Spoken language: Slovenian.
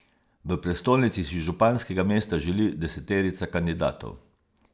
V prestolnici si županskega mesta želi deseterica kandidatov.